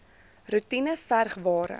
roetine verg ware